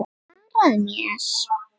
Svaraðu mér!